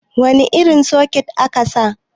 wane irin soket aka sa